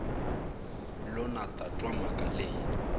lo na twa mhaka leyi